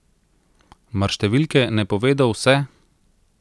Mar številke ne povedo vse?